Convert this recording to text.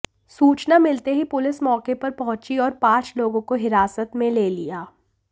सूचना मिलते ही पुलिस मौके पर पहुंची और पांच लोगों को हिरासत में ले लिया